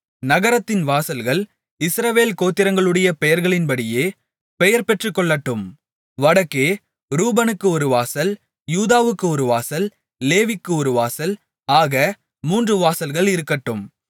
நகரத்தின் வாசல்கள் இஸ்ரவேல் கோத்திரங்களுடைய பெயர்களின்படியே பெயர் பெற்றுகொள்ளட்டும் வடக்கே ரூபனுக்கு ஒரு வாசல் யூதாவுக்கு ஒரு வாசல் லேவிக்கு ஒரு வாசல் ஆக மூன்று வாசல்கள் இருக்கட்டும்